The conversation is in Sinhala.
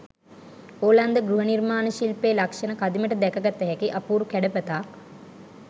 ඕලන්ද ගෘහ නිර්මාණ ශිල්පයෙ ලක්ෂණ කදිමට දැකගත හැකි අපූරු කැඩපතක්.